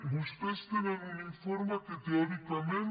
vostès tenen un informe que teòricament